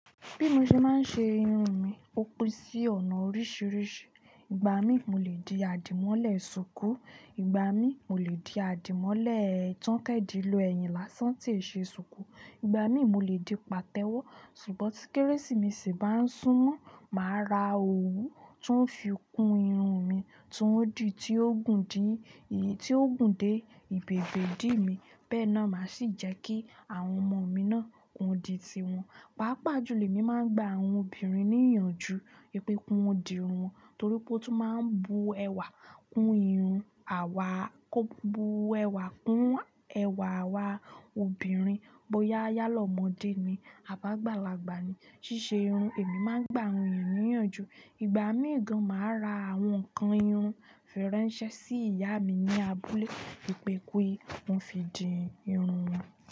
Bí mo ṣe máa ń ṣe irun mi, ó pín sí ọ̀nà oríṣiríṣi. Ìgbà mi, mo lè di àdìmọ́lẹ̀ ṣùkú, ìgbà mi, mo lè di àdìmọ́lẹ̀ tán kan di lọ, ẹ̀yìn lásán tí ṣe ṣùkú, ìgbà mi, mo lè di pàtẹ́wọ́. Ṣùgbọ́n tí kérésì meṣi bá ń súnmọ́, màá ra òwú tó fi kún irun mi tí ó gùn dé ìbèbé idí mi. Bẹ́ẹ̀ náà máa sì jẹ́ kí àwọn ọmọ mi náà ki won di tiwọn. Pàápàá jùlọ emi máa ń gba àwọn obìnrin ní ìyànjú pé ki won dì irun wọn torí pé ó tún máa ń bu ẹwà kún ẹwà kún ẹwà àwa obìnrin. Bo yálá ọmọdé ni à bi àgbàlagbà ni, ṣíṣe irun èmi máa ń gba àwọn ènìyàn ní ìyànjú. Ìgbà míì gàn, màá ra àwọn ǹkan irun faransé sí ìyá mi ní abúlé wipé ki won fi dì irun wọn.